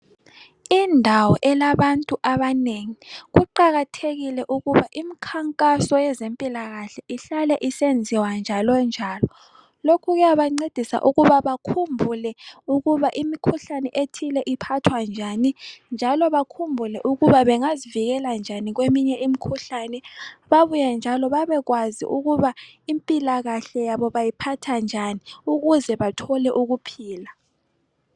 Indawo elabantu abanengi kuqakathekile ukuthi imkhankaso yezempilakahle ihlale isenziwa njalonjalo. Lokho kuyabancedisa ukuba bakhumbule ukuba imikhuhlane ethile iphathwa njani njalo bakhumbule ukuba bengazivikela njani kweminye imikhuhlane babuye njalo babekwazi ukuthi impilakahle yabo bayiphatha njani ukuze bathole ukuphila.